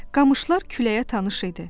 Qamışlar küləyə tanış idi.